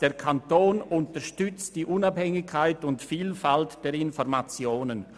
«Der Kanton unterstützt die Unabhängigkeit und Vielfalt der Informationen.»